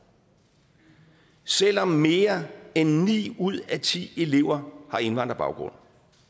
selv om mere end ni ud af ti elever har indvandrerbaggrund